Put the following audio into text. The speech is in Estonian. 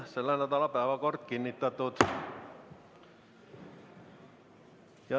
Selle nädala päevakord on kinnitatud.